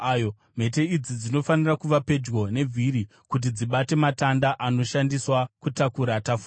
Mhete idzi dzinofanira kuva pedyo nevhiri kuti dzibate matanda anoshandiswa kutakura tafura.